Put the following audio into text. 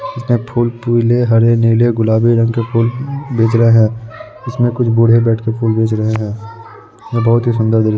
इसमें फूल पीले हरे नीले गुलाबी रंग के फूल बेच रहें है। इसमें कुछ बूढ़े बैठके फूल बेच रहें हैये बहुत ही सुन्दर दृश्य --